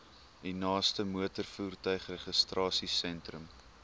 u naaste motorvoertuigregistrasiesentrum